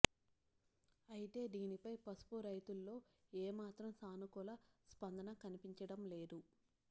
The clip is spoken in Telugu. అయితే దీనిపై పసుపు రైతుల్లో ఏ మాత్రం సానుకూల స్పందన కన్పించడం లేదు